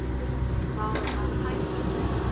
Það var hætt að snjóa.